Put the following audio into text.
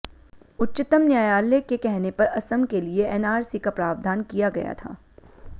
उच्चतम न्यायालय के कहने पर असम के लिए एनआरसी का प्रावधान किया गया था